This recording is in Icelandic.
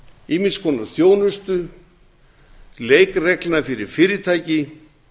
ýmiss konar þjónustu leikreglna fyrir fyrirtæki